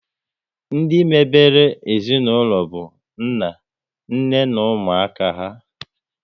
Ndị mebere ezinaụlọ bụ nna, nne na ụmụaka há